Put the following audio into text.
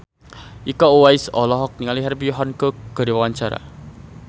Iko Uwais olohok ningali Herbie Hancock keur diwawancara